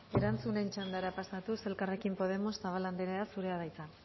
erantzunen txandara pasatuz elkarrekin podemos zabala anderea zurea da hitza